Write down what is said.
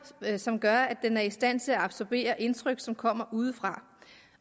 som gør at den er i stand til at absorbere indtryk som kommer udefra